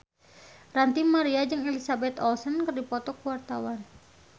Ranty Maria jeung Elizabeth Olsen keur dipoto ku wartawan